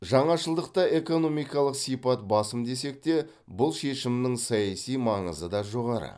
жаңашылдықта экономикалық сипат басым десек те бұл шешімнің саяси маңызы да жоғары